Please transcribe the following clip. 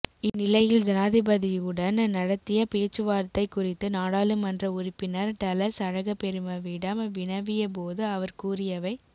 இந்நிலையில் ஜனாதிபதியுடன் நடத்திய பேச்சுவார்த்தை குறித்து நாடாளுமன்ற உறுப்பினர் டலஸ் அழகபெருமவிடம் வினவியபோது அவர் கூறியவை